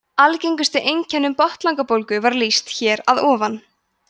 algengustu einkennum botnlangabólgu var lýst hér að ofan